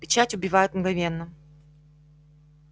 печать убивает мгновенно